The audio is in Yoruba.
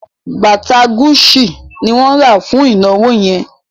Bàtà Gucci ni wọ́n rà fún ìnáwó yẹn